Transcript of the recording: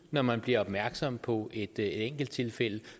når man bliver opmærksom på et enkelttilfælde